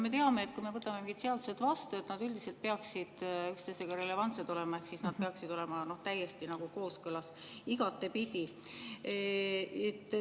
Me teame, et kui me võtame mingid seadused vastu, siis nad üldiselt peaksid üksteise suhtes relevantsed olema ehk nad peaksid olema täiesti kooskõlas, igatepidi.